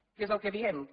què és el que diem que